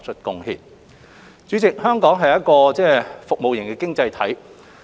代理主席，香港是一個服務型的經濟體。